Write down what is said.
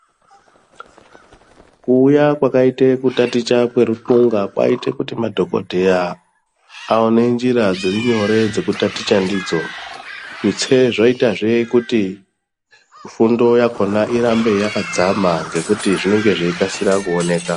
Kuuya kwakaite kutaticha kweruxunga kwaite kuti madhokodheya aone njira dziri nyore dzekutaticha ndidzo. Tutse zvaiita kuti fundo yakona irambe yakadzama ngekuti zvinenge zveikasira kuoneka.